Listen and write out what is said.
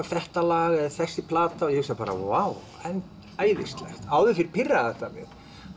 þetta lag eða þessi plata og ég hugsa bara vá en æðislegt áður fyrr pirraði þetta mig